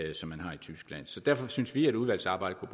så derfor synes vi at udvalgsarbejdet